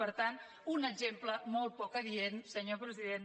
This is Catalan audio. per tant un exemple molt poc adient senyor president